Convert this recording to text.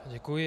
Děkuji.